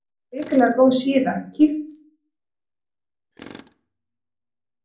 Hrikalega góð síða Kíkir þú oft á Fótbolti.net?